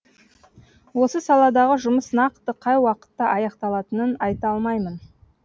осы саладағы жұмыс нақты қай уақытта аяқталатынын айта алмаймын